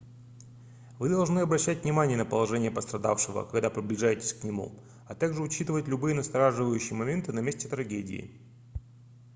вы должны обращать внимание на положение пострадавшего когда приближаетесь к нему а также учитывать любые настораживающие моменты на месте трагедии